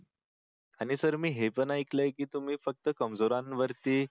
आणि सर मी हे पण ऐकलं की तुम्ही फक्त कमजोरांवरती